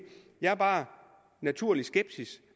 jeg bare er naturligt skeptisk